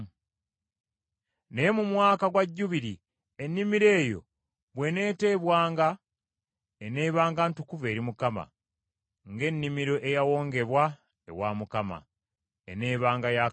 Naye mu Mwaka gwa Jjubiri ennimiro eyo bw’eneeteebwanga, eneebanga ntukuvu, ng’ennimiro eyawongebwa ewa Mukama ; eneebanga ya kabona.